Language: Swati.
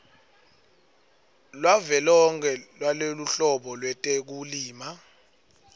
lwavelonkhe lweluhlolo lwetekulima